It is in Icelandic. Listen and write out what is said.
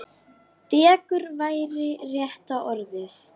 Dekur væri rétta orðið.